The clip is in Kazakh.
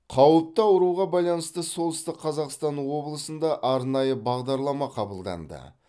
қауіпті ауруға байланысты солтүстік қазақстан облысында арнайы бағдарлама қабылданды